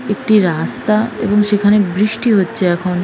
একটি রাস্তা এবং সেখানে বৃষ্টি হচ্ছে এখন।